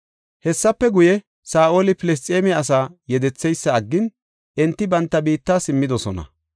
Hessafe guye, Saa7oli Filisxeeme asaa yedetheysa aggin enti banta biitta simmidosona.